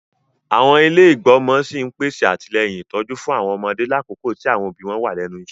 Àwọn ilé igbọmọ sí n pèsè atilẹyin ìtójú fún àwọn ọmọdé lakoko ti àwọn òbí wọn wa lẹ́nu iṣẹ.